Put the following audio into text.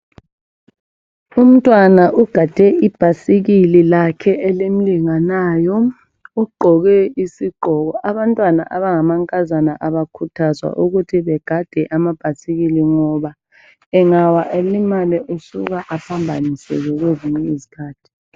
Umntwana ugade ibhayisikili lakhe elimlinganayo ugqoke isigqoko abantwana abangamankazana abakhuthazwa ukuthi begade ama bhayisikili ngoba engawa elimale usuka aphambaniseke kwezinye izikhathi